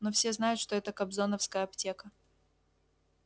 но все знают что это кобзоновская аптека